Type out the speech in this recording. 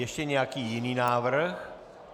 Ještě nějaký jiný návrh?